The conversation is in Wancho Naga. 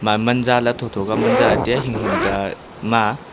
maa man jaala tho tho ka man jaa tiya hing hing ka ma.